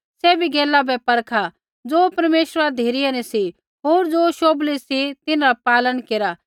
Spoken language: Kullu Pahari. सैभी गैला बै परखा ज़ो परमेश्वरा धिरै न सी होर ज़ो शोभली सी तिन्हरा पालन केरा